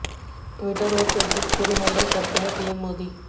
Twitter और Facebook खूद handle करते हैं पीएम मोदी